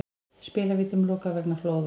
Spilavítum lokað vegna flóða